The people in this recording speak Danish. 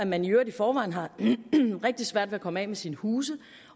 man i øvrigt i forvejen har rigtig svært ved at komme af med sine huse